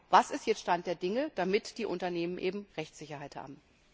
es. Was ist jetzt Stand der Dinge, damit die Unternehmen Rechtssicherheit haben?